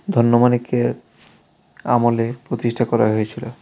ধন্য মানিক্যের আমলে প্রতিষ্ঠা করা হয়েছিল .